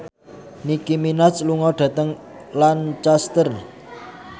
Nicky Minaj lunga dhateng Lancaster